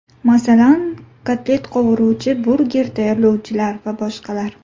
Masalan, kotlet qovuruvchi, burger tayyorlovchilar va boshqalar.